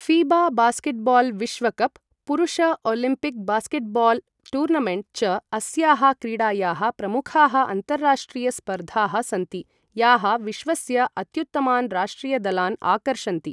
ऴीबा basketball विश्वकप्, पुरुष Olympic basketball tournament च अस्याः क्रीडायाः प्रमुखाः अन्ताराष्ट्रिय स्पर्धाः सन्ति, याः विश्वस्य अत्युत्तमान् राष्ट्रिय दलान् आकर्षन्ति।